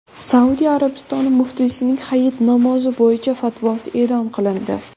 Saudiya Arabistoni muftiysining Hayit namozi bo‘yicha fatvosi e’lon qilindi.